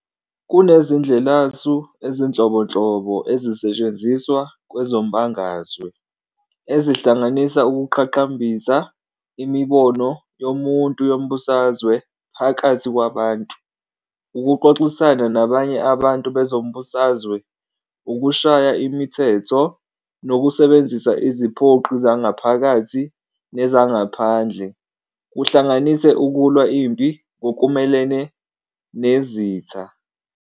Kunezindlelasu ezinhlobonhlobo ezisetshenziswa kwezombangazwe, ezihlanganisa ukuqhakambisa imibono yomuntu yombusazwe phakathi kwabantu, ukuxoxisana nabanye abantu bezombusazwe, ukushaya imithetho, nokusebenzisa iziphoqi zangaphakathi nezangaphandle, kuhlanganise ukulwa impi ngokumelene nezitha.